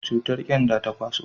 cutar kyanda ta kwaso